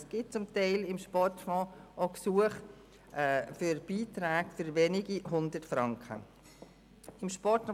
Es gibt zum Teil auch Gesuche für Beiträge von wenigen Hundert Franken an den Sportfonds.